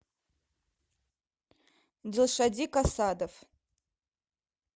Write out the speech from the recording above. дилшодик асадов